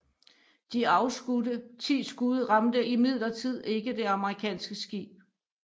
De afskudte ti skud ramte imidlertid ikke det amerikanske skib